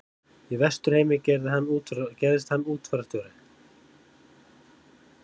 Í Vesturheimi gerðist hann útfararstjóri.